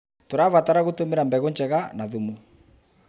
Tũrabatara gũtũmĩra mbegũ njega na thumu.